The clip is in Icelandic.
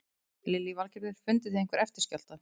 Lillý Valgerður: Funduð þið einhverja eftirskjálfta?